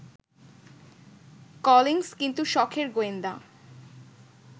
Collins কিন্তু সখের গোয়েন্দা